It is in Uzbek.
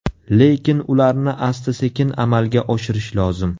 Lekin ularni asta-sekin amalga oshirish lozim.